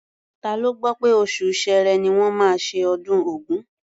Ta ló gbọ́ pé oṣù Ṣẹẹrẹ ni wọ́n máa ṣe ọdún Ògún?